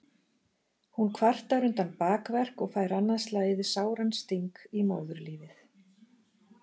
Hún kvartar undan bakverk og fær annað slagið sáran sting í móðurlífið.